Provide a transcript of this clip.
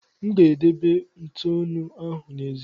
M ga-edebe ntụnụ ahụ n'èzí.